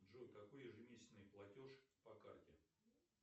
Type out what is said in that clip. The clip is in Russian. джой какой ежемесячный платеж по карте